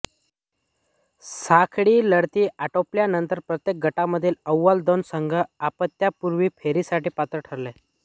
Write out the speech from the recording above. साखळी लढती आटोपल्यानंतर प्रत्येक गटामधील अव्वल दोन संघ उपांत्यपूर्व फेरीसाठी पात्र ठरले